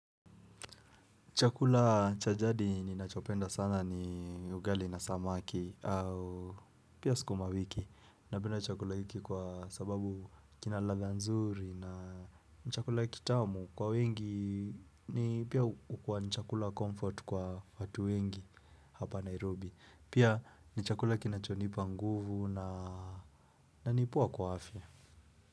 Chakula cha jadi ninachopenda sana ni ugali na samaki au pia skuma wiki. Napenda chakula wiki kwa sababu kina ladha nzuri na ni chakula kitamu. Kwa wengi ni pia ukua ni chakula comfort kwa watu wengi hapa Nairobi. Pia ni chakula kinachonipa nguvu na ni poa kwa afya.